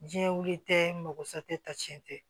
Jiyɛn wuli tɛ mago sa tɛ dɛ tiɲɛ tɛ